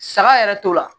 Saga yɛrɛ t'o la